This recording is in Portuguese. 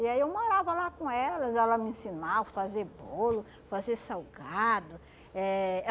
E aí eu morava lá com elas, elas me ensinavam fazer bolo, fazer salgado. Eh